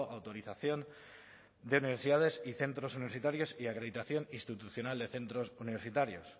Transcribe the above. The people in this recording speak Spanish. autorización de universidades y centros universitarios y acreditación institucional de centros universitarios